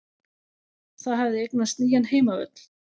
Það hafði eignast nýjan heimavöll.